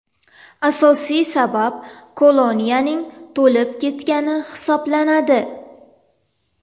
Asosiy sabab koloniyaning to‘lib ketgani hisoblanadi.